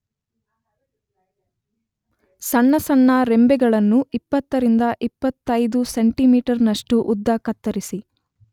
ಸಣ್ಣ ಸಣ್ಣ ರೆಂಬೆಗಳನ್ನು 20-25 ಸೆಂತಿಮೀಟರ್ನಷ್ಟು ಉದ್ದ ಕತ್ತರಿಸಿ